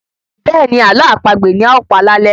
Bẹ́ẹ̀ni Ààlọ́ àpagbè ni a ó pa lálé